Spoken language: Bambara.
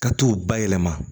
Ka t'u ba yɛlɛma